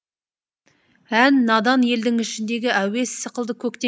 ән надан елдің ішіндегі әуез сықылды көктен